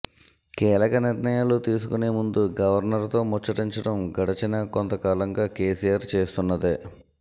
కీలక నిర్ణయాలు తీసుకునే ముందు గవర్నర్ తో ముచ్చటించటం గడిచిన కొంతకాలంగా కేసీఆర్ చేస్తున్నదే